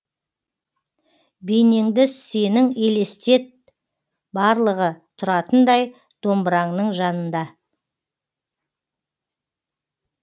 бейнеңді сенің елестет барлығы тұратындай домбыраңның жанында